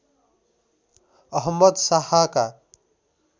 Ahmad शाहका